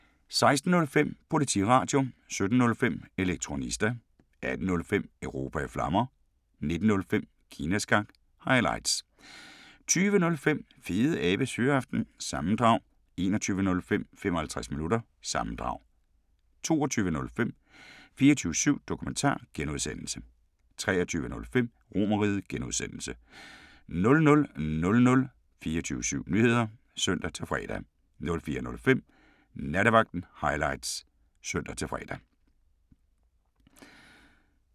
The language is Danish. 16:05: Politiradio 17:05: Elektronista 18:05: Europa i Flammer 19:05: Kina Snak – highlights 20:05: Fedeabes Fyraften - sammendrag 21:05: 55 Minutter – sammendrag 22:05: 24syv Dokumentar (G) 23:05: RomerRiget (G) 00:00: 24syv Nyheder (søn-fre) 04:05: Nattevagten Highlights (søn-fre)